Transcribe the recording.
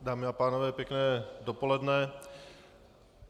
Dámy a pánové pěkné dopoledne.